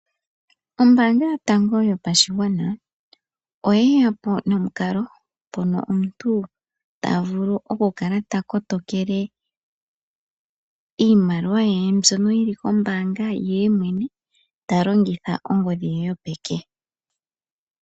Ombaanga yotango yopashigwana oyeya po nomukalo mpono omuntu tavulu okukala takotokele iimaliwa ye mbyono yili kombaanga yemwene talongitha ongodhi ye yopeke.